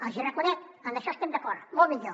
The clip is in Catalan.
els ho reconec en això estem d’acord molt millor